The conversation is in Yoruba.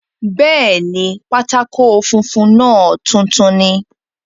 Bẹ́ẹ̀ni, pátákó funfun náà tuntun ni